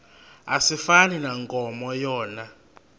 asifani nankomo yona